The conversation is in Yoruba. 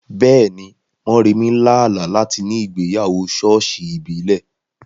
Bẹ́ẹ̀ni, Moremi lá àlá láti ní ìgbéyàwó ṣọ́ọ̀ṣì ìbílẹ̀.